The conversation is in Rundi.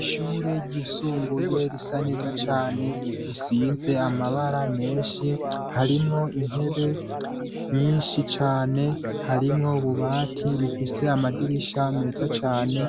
Ishure ryisumbuye risa neza cane. risize amabara menshi. Harimwo intebe nyinshi cane, harimwo ububati. Rifise amadirisha meza cane,